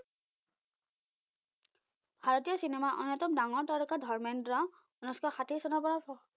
ভাৰতীয় চিনেমাৰ অন্যতম ডাঙৰ তাৰকা ধৰ্মেন্দ্ৰ উনৈসশ ষাঠি চনৰপৰা